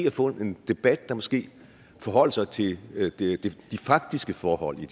at få en debat der måske forholdt sig til de faktiske forhold i